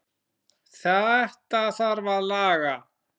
Þetta þarf að laga.